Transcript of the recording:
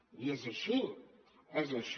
i és així és així